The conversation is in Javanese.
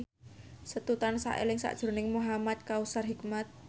Setu tansah eling sakjroning Muhamad Kautsar Hikmat